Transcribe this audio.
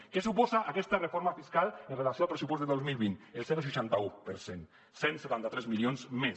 què suposa aquesta reforma fiscal amb relació al pressupost del dos mil vint el zero coma seixanta un per cent cent i setanta tres milions més